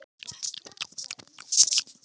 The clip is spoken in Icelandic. Þá verslun vil ég endurvekja.